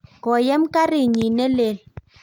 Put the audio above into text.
koyem karit nyin ne lel